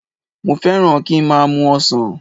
Mo fẹ́ràn kí n má a mu ọsàn